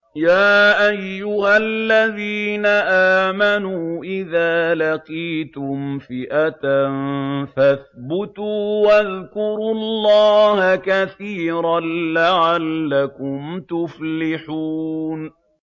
يَا أَيُّهَا الَّذِينَ آمَنُوا إِذَا لَقِيتُمْ فِئَةً فَاثْبُتُوا وَاذْكُرُوا اللَّهَ كَثِيرًا لَّعَلَّكُمْ تُفْلِحُونَ